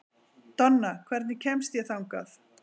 Donna, hvernig kemst ég þangað?